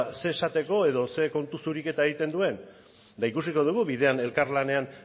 ze esateko edo ze kontu zuriketa egiten duen eta ikusiko dugu bidean elkarlanean